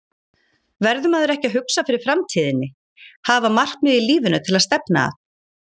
Verður maður ekki að hugsa fyrir framtíðinni, hafa markmið í lífinu til að stefna að?